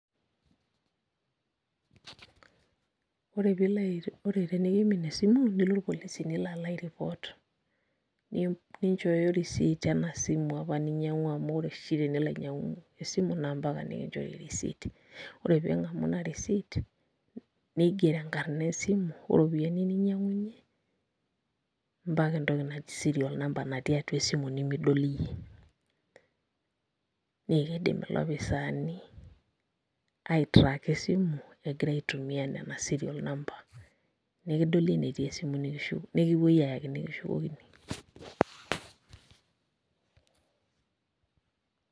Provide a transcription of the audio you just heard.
Ore pilo, ore tenikiimin esimu, nilo irpolisi nilo alo ai report. Ninchooyo risit enasimu apa ninyang'ua amu ore oshi tenilo ainyang'u esimu, na mpaka nikinchori risit. Ore ping'amu ina risit, nigero enkarna esimu, oropiyiani ninyang'unye, mpaka entoki naji serial number natii atua esimu nimidol iyie. Nekidim ilopisaani aitraka esimu, egira aitumia nena serial number. Nekidoli enetii esimu nikipoi ayaki nikishukokini.